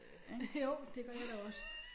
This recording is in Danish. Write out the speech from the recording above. Jo det gør jeg da også